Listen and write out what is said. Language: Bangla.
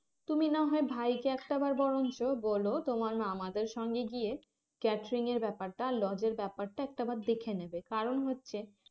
তুমি না হয় ভাইকে একটাবার বরঞ্চ বলো তোমার মামাদের সঙ্গে গিয়ে catering এর ব্যাপারটা আর lodge এর ব্যাপারটা একটাবার দেখে নেবে কারণ হচ্ছে